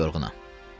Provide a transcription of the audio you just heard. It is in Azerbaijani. Çox yorğunam.